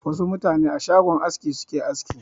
Wasu mutane a shagon aski suke aski.